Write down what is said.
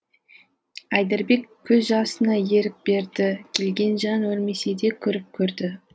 айдарбек көз жасына ерік берді келген жан өлмесе де көріп көрді